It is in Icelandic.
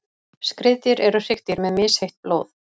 skriðdýr eru hryggdýr með misheitt blóð